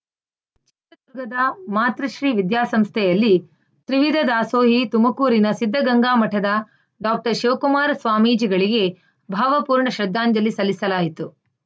ಚಿತ್ರದುರ್ಗದ ಮಾತೃಶ್ರೀ ವಿದ್ಯಾಸಂಸ್ಥೆಯಲ್ಲಿ ತ್ರಿವಿಧ ದಾಸೋಹಿ ತುಮಕೂರಿನ ಸಿದ್ದಗಂಗಾಮಠದ ಡಾಕ್ಟರ್ ಶಿವಕುಮಾರ ಸ್ವಾಮೀಜಿಗಳಿಗೆ ಭಾವಪೂರ್ಣ ಶ್ರದ್ಧಾಂಜಲಿ ಸಲ್ಲಿಸಲಾಯಿತು